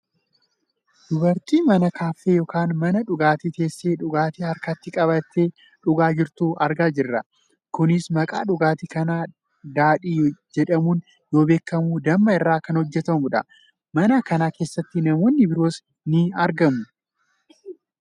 Dubartii mana kaaffee yookaan mana dhugaatii teessee dhugaatii harkatti qabattee dhugaa jirtu argaa jirra. Kunis maqaan dhugaatii kanaa daadhii jedhamuun yoo beekkamu damma irraa kan hojjatamudha. Mana kana keessatti namoonni biroos ni argamu.